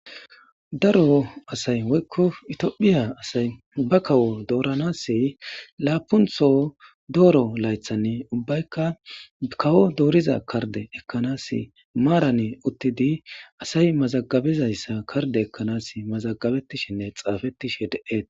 daro asay woykko itiophiya asay ubba kawo dooranas laapuntho dooro laythanne ubbaykka kawo dooriza karde ekkanas maarane uttidi asay mazagabezayssa karde ekkanas mazagabettishinne xaafettishe de7eet